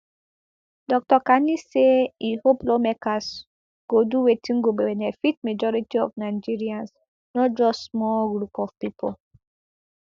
dr kani say e hope lawmakers go do wetin go benefit majority of nigerians not just small group of pipo